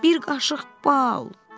Bir qaşıq bal!